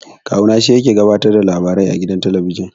Kawu na shi yake gabatar da labarai a gidan talabijin.